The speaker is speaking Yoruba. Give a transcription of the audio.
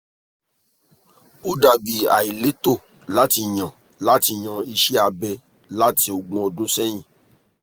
o dabi aileto lati yan lati yan iṣẹ abẹ lati ogun ọdun sẹyin